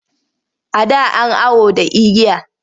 A da an awo da igiya.